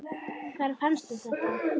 Hvar fannstu þetta?